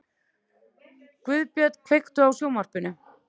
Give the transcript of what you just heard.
Guðbjörn, kveiktu á sjónvarpinu.